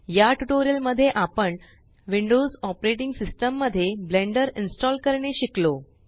या ट्यूटोरियल मध्ये आपण विंडोस ऑपरेटिंग सिस्टम मध्ये ब्लेंडर इन्स्टॉल करणे शिकलो